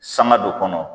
Sanga dɔ kɔnɔ